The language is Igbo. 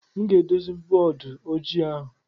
M ga-edozi bọọdụ ojii ahụ.